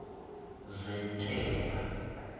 zentela